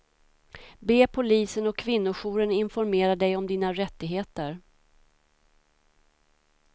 Be polisen och kvinnojouren informera dig om dina rättigheter.